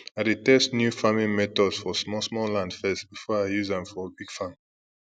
i dey test new farming method for small small land first before i use am for big farm